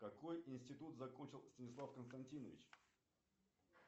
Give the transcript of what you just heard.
какой институт закончил станислав константинович